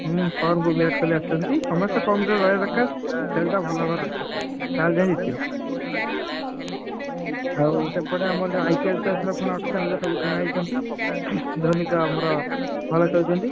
ହୁଁ form କୁ ବିରାଟ କୋହଲି ଆସିଛନ୍ତି ସମସ୍ତେ form ରେ ରହିବ ଦରକାର। ଖେଳ ଟା ଭଲ ହବ ଦରକାର ତାହେଲେଯାଇଁଜିତିବ। ଆଉ ସେପଟେ ଆମର ଯୋଉ IPL ଟା ଏଥର କଣ auction ରେ କିଣା ହେଇଛନ୍ତି। ଧୋନୀ ତ ଆମର ଭଲ ଖେଳୁଛନ୍ତି।